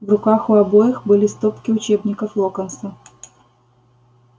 в руках у обоих были стопки учебников локонса